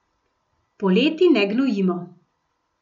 Poleti ne gnojimo.